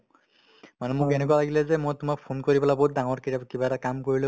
মানে মোৰ এনেকুৱা লাগিলে যে মই তোমাক phone কৰি পেলাই বহুত ডাঙৰকে কিবা এটা কৰিলো